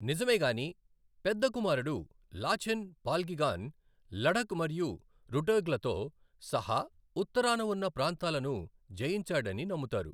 నిజమేగాని, పెద్ద కుమారుడు లాచెన్ పాల్గిగాన్ లడఖ్ మరియు రుటోగ్లతో సహా ఉత్తరాన ఉన్న ప్రాంతాలను జయించాడని నమ్ముతారు.